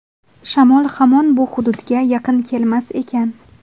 Shamol hamon bu hududga yaqin kelmas ekan.